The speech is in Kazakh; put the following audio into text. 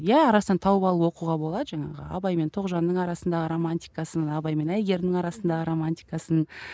иә арасынан тауып алып оқуға болады жаңағы абай мен тоғжанның арасындағы романтикасын абай мен әйгерімнің арасындағы романтикасын